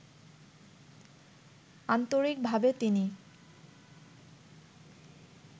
আন্তরিকভাবে তিনি